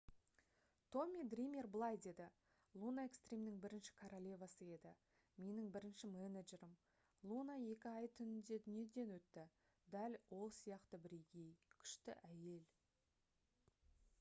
томми дример былай деді: «луна экстримнің бірінші королевасы еді. менің бірінші менеджерім. луна екі ай түнінде дүниеден өтті. дәл ол сияқты бірегей. күшті әйел»